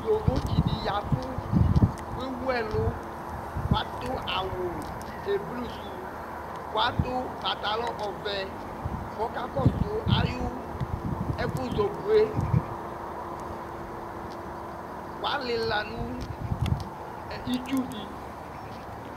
Ƴovotsɩ ɖɩ ƴa ɛvʋ ,t'ewu ɛlʋ, ƙʋ l'aɖʋ awʋ eblu sʋ,ƙʋ l'aɖʋ patlɔ ɔvɛƆƙa ƙɔsʋ aƴʋ ɛƙʋzɔƙo ƴɛ, alɩla nʋ itsu ɖɩ